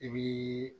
I bii